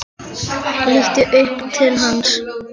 Lítur upp til hans.